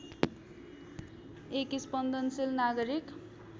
एक स्पन्दनशील नागरिक